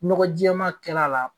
Ɲɔgɔ jɛɛma kɛl'a la.